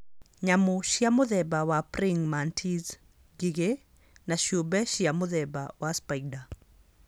Nyamũ cia mũthemba wa praying mantis, ngigĩ, na ciũmbe cia mũthemba wa spider.